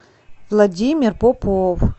владимир попов